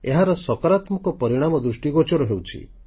ଏହାର ସକାରାତ୍ମକ ପରିଣାମ ଦୃଷ୍ଟିଗୋଚର ହେଉଛି